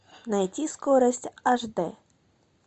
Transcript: найти скорость аш д